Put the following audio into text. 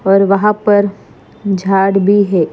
पर वहा पर झाड भी है।